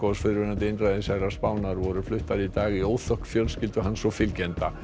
fyrrverandi einræðisherra Spánar voru fluttar í dag í óþökk fjölskyldu hans og fylgjenda